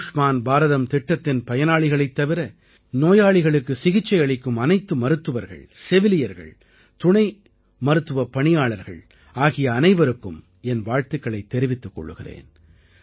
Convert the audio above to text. ஆயுஷ்மான் பாரதம் திட்டத்தின் பயனாளிகளைத் தவிர நோயாளிகளுக்கு சிகிச்சை அளிக்கும் அனைத்து மருத்துவர்கள் செவிலியர்கள் துணை மருத்துவப் பணியாளர்கள் ஆகிய அனைவருக்கும் என் வாழ்த்துக்களைத் தெரிவித்துக் கொள்கிறேன்